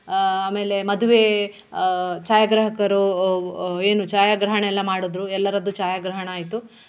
ಆಹ್ ಆಮೇಲೆ ಮದುವೆ ಆಹ್ ಛಾಯಾಗ್ರಾಹಕರು ಏನು ಛಾಯಾಗ್ರಹಣ ಎಲ್ಲ ಮಾಡುದ್ರು ಎಲ್ಲರದ್ದು ಛಾಯಾಗ್ರಹಣ ಆಯ್ತು.